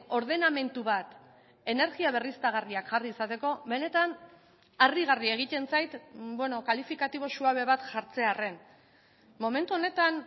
ordenamendu bat energia berriztagarriak jarri izateko benetan harrigarria egiten zait kalifikatibo suabe bat jartzearren momentu honetan